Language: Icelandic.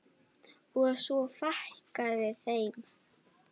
Og svo fækkaði þeim.